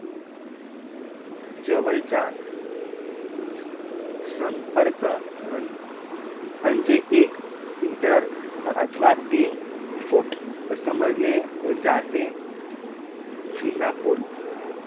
जवळचा संपर्क अं अं अंजे एक मीटर इतर अथवा तीन फूट समजले जाते सिंगापुर